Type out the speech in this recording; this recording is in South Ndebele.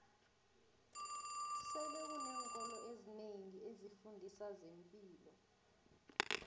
sele kuneenkolo ezinengi ezifundiso zempilo